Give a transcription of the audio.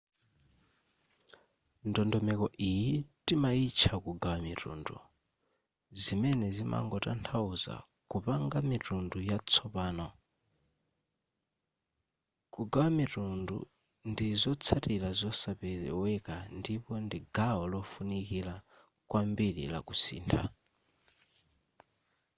ndondomeko iyi timaitcha kugawa mitundu zimene zimangotanthauza kupanga mitundu yatsopano kugawa mitundu ndi zotsatira zosapeweka ndipo ndi gawo lofunikira kwambiri la kusintha